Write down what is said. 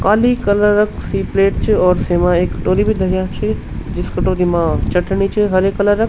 काली colour क सी plate च और सेमा एक कटोरी भी धरयां छि जिस कटोरी मा चटणी च हरे कलर ।